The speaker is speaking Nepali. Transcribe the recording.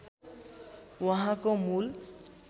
उहाँको मूल